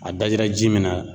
A dajira ji min na